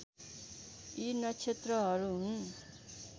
यी नक्षत्रहरू हुन्